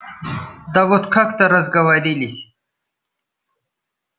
да вот как-то разговорились